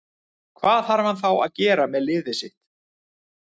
Hvað þarf hann þá að gera með liðið sitt.